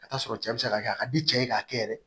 Ka taa sɔrɔ cɛ be se ka kɛ a ka di cɛ ye k'a kɛ yɛrɛ